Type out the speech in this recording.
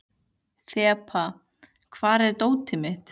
Þeba, hvar er dótið mitt?